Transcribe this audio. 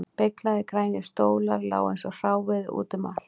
Beyglaðir grænir stólar lágu eins og hráviði út um allt